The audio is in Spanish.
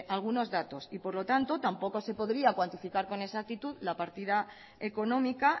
algunos datos y por lo tanto tampoco se podría cuantificar con exactitud la partida económica